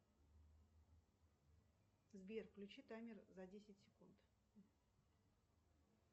сбер включи таймер за десять секунд